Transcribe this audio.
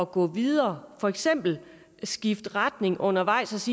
gå videre for eksempel at skifte retning undervejs